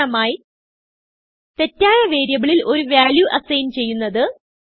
ഉദാഹരണമായി തെറ്റായ വേരിയബിളിൽ ഒരു വാല്യൂ അസൈൻ ചെയ്യുന്നത്